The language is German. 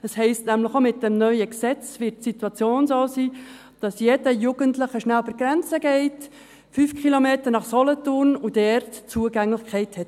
Das heisst, dass die Situation auch mit dem neuen Gesetz so sein wird, dass jeder Jugendliche rasch über die Grenze, 5 Kilometer weiter, nach Solothurn gehen kann, und dort Zugang hat.